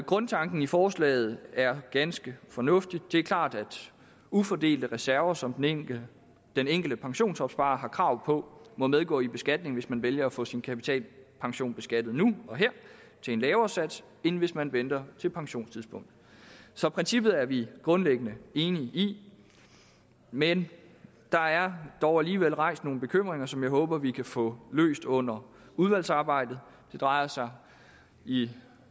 grundtanken i forslaget er ganske fornuftig det er klart at ufordelte reserver som den enkelte den enkelte pensionsopsparer har krav på må medgå i beskatningen hvis man vælger at få sin kapitalpension beskattet nu og her til en lavere sats end hvis man venter til pensionstidspunktet så princippet er vi grundlæggende enige i men der er dog alligevel rejst nogle bekymringer som jeg håber vi kan få løst under udvalgsarbejdet det drejer sig i